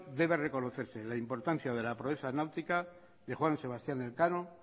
debe reconocerse la importancia de la proeza náutica de juan sebastián elcano